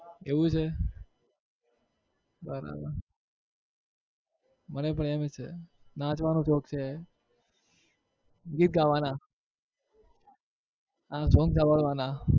એવું છે બરાબર મને પણ એવું જ છે નાચવાનો શોખ છે ગીત ગાવાના અને song સાંભળવાના.